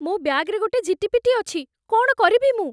ମୋ ବ୍ୟାଗ୍‌ରେ ଗୋଟେ ଝିଟିପିଟି ଅଛି । କ'ଣ କରିବି ମୁଁ?